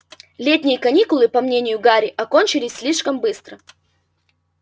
летние каникулы по мнению гарри окончились слишком быстро